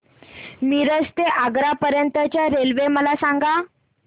मिरज ते आग्रा पर्यंत च्या रेल्वे मला सांगा